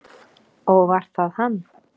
Og var það hann?